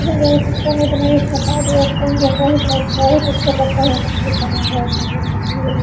एक डैम ज्यादा तीता नहीं बनाया है स्वाद कम रहता हैबहुत अच्छा लगता है मछली खाने मे बहुत सुन्दर मछली है ये --